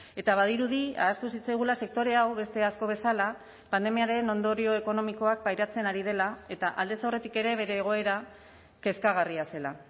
eta badirudi ahaztu zitzaigula sektore hau beste asko bezala pandemiaren ondorio ekonomikoak pairatzen ari dela eta aldez aurretik ere bere egoera kezkagarria zela